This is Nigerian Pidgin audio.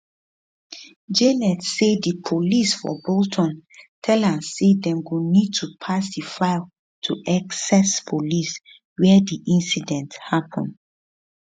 janet say di police for bolton tell am say dem go need to pass di file to essex police wia di incident hapun